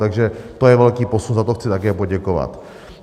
Takže to je velký posun, za to chci také poděkovat.